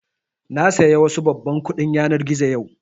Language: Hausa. Na saya wasu babban kuɗin yanar gizo yau